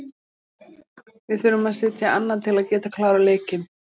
Við þurfum að setja annað til að geta klárað leikinn.